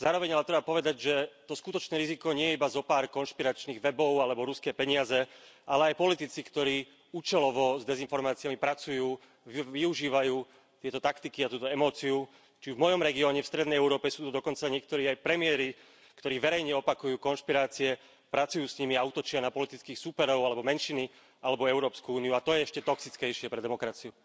Zároveň ale treba povedať, že to skutočné riziko nie je iba zopár konšpiračných webov alebo ruské peniaze, ale aj politici, ktorí účelovo s dezinformáciami pracujú, využívajú tieto taktiky a túto emóciu, či v mojom regióne, v strednej Európe sú dokonca niektorí aj premiéri, ktorí verejne opakujú konšpirácie, pracujú s nimi a útočia na politických súperov, alebo menšiny, alebo Európsku úniu, a to je ešte toxickejšie pre demokraciu.